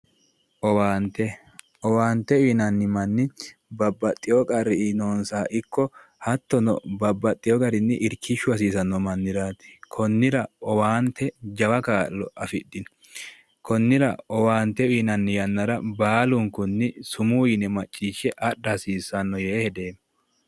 Owaanite owaanite yinanni manni babbaxewo qarri noonisa ikko hattono babbaxewo garini irikkishu hasiisano manniraati konnira owaanite jawa kaa'lo afidhino konnira owaanite uyinay yannara baalunknni sumuu yine maciishe adha hasiisanno yee hedeemo